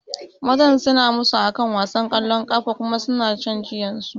Mazan suna musu akan wasan kwallon kafa kuma suna shan jiyansu